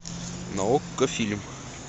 на окко фильм